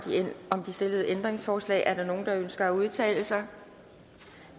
om de stillede ændringsforslag er der nogen der ønsker at udtale sig